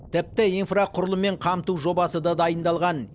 тіпті инфрақұрылыммен қамту жобасы да дайындалған